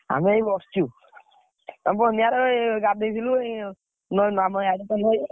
ଆମେ ଏଇ ବସିଚୁ, ଗାଧେଇ ଥିଲୁ, ଏଇ ନଈ ଆମ ଇଆଡେ ତ ନଈ।